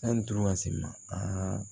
Sanni duuru ka se ma